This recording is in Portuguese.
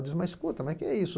Digo, mas escuta, mas o que é isso?